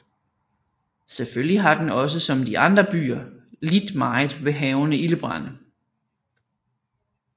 Selvfølgelig har den også som de andre byer lidt meget ved hærgende ildebrande